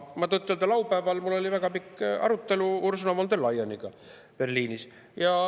Tõtt-öelda oli mul laupäeval väga pikk arutelu Ursula von der Leyeniga Berliinis.